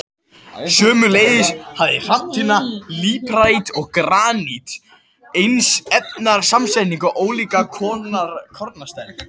Sömuleiðis hafa hrafntinna, líparít og granít eins efnasamsetning en ólíka kornastærð.